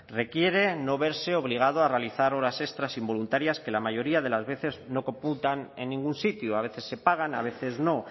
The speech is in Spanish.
requiere no verse obligado a realizar horas extras involuntarias que la mayoría de las veces no computan en ningún sitio a veces se pagan a veces no